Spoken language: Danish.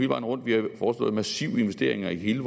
vejen rundt vi har foreslået massive investeringer i hele